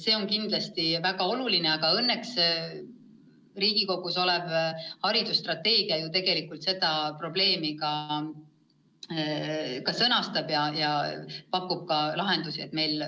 See on kindlasti väga oluline ja õnneks Riigikogus olev haridusstrateegia selle probleemi sõnastab ja pakub ka lahendusi.